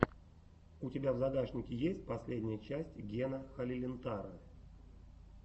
у тебя в загашнике есть последняя часть гена халилинтара